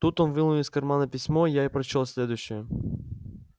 тут он вынул из кармана письмо я и прочёл следующее